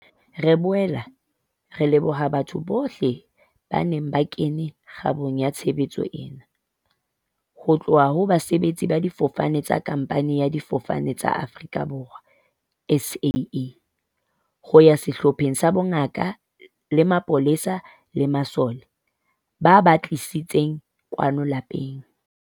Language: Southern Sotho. Re boela re leboha batho bohle ba neng ba kene kgabong ya tshebetso ena, ho tloha ho basebetsi ba difofane tsa khamphani ya Difofane tsa Afrika Borwa, SAA, ho ya sehlopheng sa bongaka le mapolesa le masole, ba ba tlisitseng kwano lapeng.